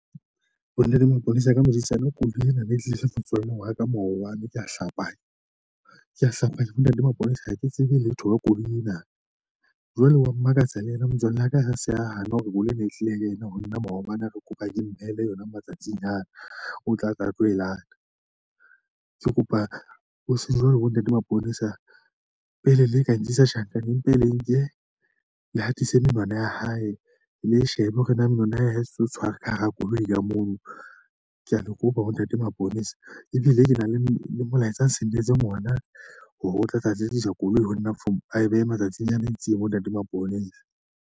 Ho na le maponesa ka medidietsane koloi ena, mme e tlile hle motswalle wa ka moo wa mo ko hlapanya ko hlapa ke bona di mapologa hake tsebe letho ka koloi ena jwale wa Mmakatsanyana Motswalle wa ka ha se a hane hore bolo ena e tlile ena ho nna maobane, Re kopa ke mmele yona matsatsing ana. Ng o tla ka tlohela Ke kopa ho seng jwalo bo ntate Maponesa pele le ka nkisa tjhankaneng empa e le nke le hatise menwana ya hae, le shebe hore na mona hae se o tshware ka hara koloi ka moo kea le kopa ho ntate maponesa Ebile ke na le molaetsa nsendetseng ona hore o tlatla atle dija koloi ho nna For Ae behe matsatsing a metsi monate maponesa .